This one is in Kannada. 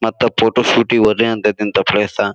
ಮತ್ತ ಫೋಟೋ ಶೂಟ್ ಗೆ ಹೋದೆ ಅಂತಕ್ಕಂತ ಪ್ಲೇಸ .